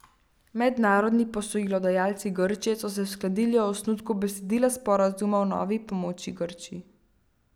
Mednarodni posojilodajalci Grčije so se uskladili o osnutku besedila sporazuma o novi pomoči Grčiji.